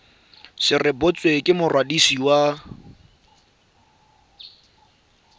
se rebotswe ke mokwadisi wa